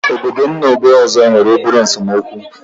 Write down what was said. Obodo m na ógbè ọzọ nwere obere esemokwu nwere obere